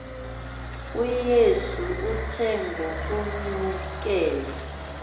uyesu uthe ngokunyukela